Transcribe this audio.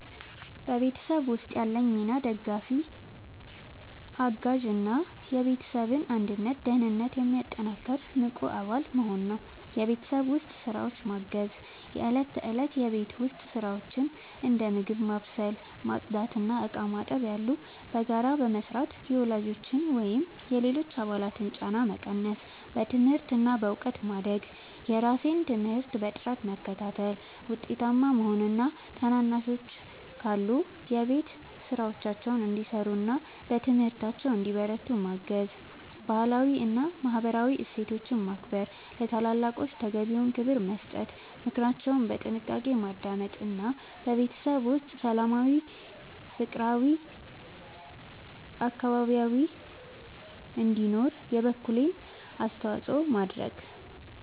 በቤተሰብ ውስጥ ያለኝ ሚና ደጋፊ፣ አጋዥ እና የቤተሰብን አንድነትና ደህንነት የሚያጠናክር ንቁ አባል መሆን ነው። የቤት ውስጥ ስራዎችን ማገዝ፦ የእለት ተእለት የቤት ውስጥ ስራዎችን (እንደ ምግብ ማብሰል፣ ማጽዳት እና ዕቃ ማጠብ ያሉ) በጋራ በመስራት የወላጆችን ወይም የሌሎች አባላትን ጫና መቀነስ። በትምህርት እና በእውቀት ማደግ፦ የራሴን ትምህርት በጥራት በመከታተል ውጤታማ መሆን እና ታናናሾች ካሉ የቤት ስራቸውን እንዲሰሩና በትምህርታቸው እንዲበረቱ ማገዝ። ባህላዊ እና ማህበራዊ እሴቶችን ማክበር፦ ለታላላቆች ተገቢውን ክብር መስጠት፣ ምክራቸውን በጥንቃቄ ማዳመጥ እና በቤተሰብ ውስጥ ሰላማዊና ፍቅራዊ አካባቢ እንዲኖር የበኩሌን አስተዋጽኦ ማድረግ።